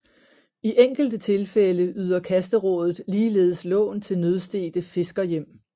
I enkelte tilfælde yder kasterådet ligeledes lån til nødstedte fiskerhjem